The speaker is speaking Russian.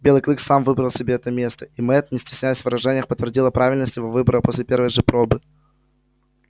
белый клык сам выбрал себе это место и мэтт не стесняясь в выражениях подтвердила правильность его выбора после первой же пробы